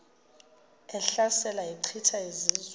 ehlasela echitha izizwe